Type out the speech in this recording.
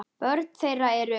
Börn þeirra eru